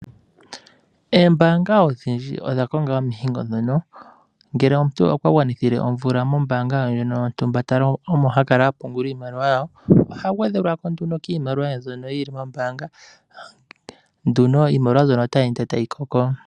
Eembaanga odhindji odha konga omihingo dhono ngele omuntu okwa gwanithile omvula mombaanga ye ndjono yontumba omo ta kala ha pungula iimaliwa yawo oha gwedhelwa ko nduno kiimaliwa ye mbyoka yili kombaanga opo ihe iimaliwa mbyono otayi ende tayi koko.